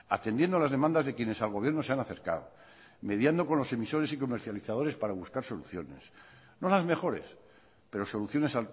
atendiendo a las demandas de quienes al gobierno se han acercado mediando con los emisores y comercializadores para buscar soluciones no las mejores pero soluciones